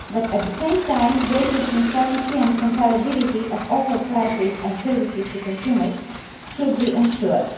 At the same time, greater transparency and comparability of offered prices and services to consumers should be ensured.